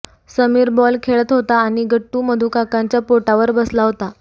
Sameer ball खेळत होता आणि गट्टू मधूकाकाच्या पोटावर बसला होता